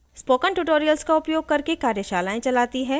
spoken tutorials का उपयोग करके कार्यशालाएं चलाती है